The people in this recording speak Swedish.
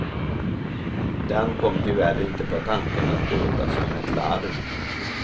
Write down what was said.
Den kom tyvärr inte på tanken att låta som ett larm.